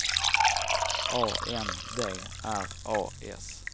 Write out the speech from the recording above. A N D R A S